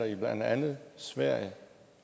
i blandt andet sverige